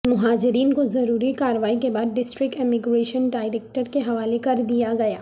مہاجرین کو ضروری کاروائی کے بعد ڈسٹرکٹ امیگریشن ڈائریکٹریٹ کےحوالے کر دیا گیا